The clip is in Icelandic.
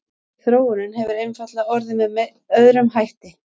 þróunin hefur einfaldlega orðið með öðrum hætti